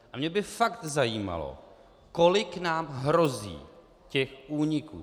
A mě by fakt zajímalo, kolik nám hrozí těch úniků.